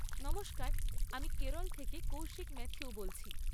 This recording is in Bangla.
নমস্কার, আমি কেরল থেকে কৌশিক ম্যাথিউ বলছি।